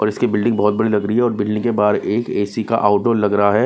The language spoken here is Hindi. और इसकी बिल्ड़िंग बहुत बड़ी लग रही है और बिजली के बाहर एक ए_सी का आउटो लग रहा है।